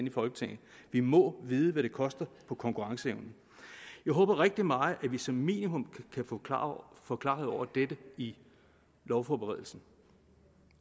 i folketinget vi må vide hvad det koster på konkurrenceevnen jeg håber rigtig meget at vi som minimum kan få få klarhed over dette i lovforberedelsen